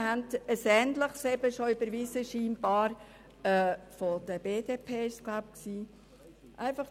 Wir haben offenbar schon ein ähnliches Postulat der BDP überwiesen.